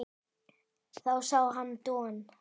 Þá sá hann Don